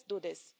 Let's do this.